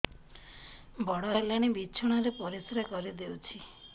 ବଡ଼ ହେଲାଣି ବିଛଣା ରେ ପରିସ୍ରା କରିଦେଉଛି